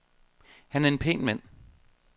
Han er en pæn mand.